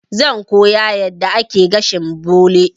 Zan koya yadda ake gashin bole.